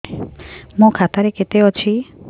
ମୋ ଖାତା ରେ କେତେ ଅଛି